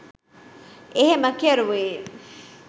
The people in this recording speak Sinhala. එහෙම කෙරුවේ